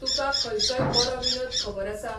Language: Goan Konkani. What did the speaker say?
तुुकां खंयचोय बरो विनोद खबर आसा